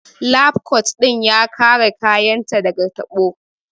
Lab kot ɗin ya kare kayan ta daga tabo